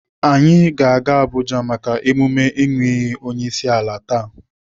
Anyị ga-aga Abuja maka emume ịnụ iyi onyeisiala taa.